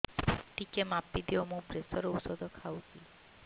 ଟିକେ ମାପିଦିଅ ମୁଁ ପ୍ରେସର ଔଷଧ ଖାଉଚି